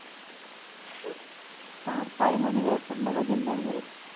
पार time आणि वेळ पूर्ण बदललाय खरंच.